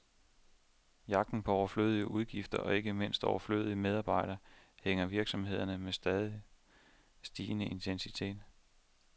Jagten på overflødige udgifter, og ikke mindst overflødige medarbejdere, hærger virksomhederne med stadig stigende intensitet.